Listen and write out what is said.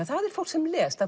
er fólk sem les það